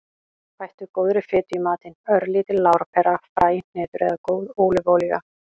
Bættu góðri fitu í matinn; örlítil lárpera, fræ, hnetur eða góð ólífuolía.